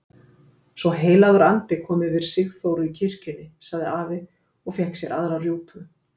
Svo heilagur andi kom yfir Sigþóru í kirkjunni! sagði afi og fékk sér aðra rjúpu.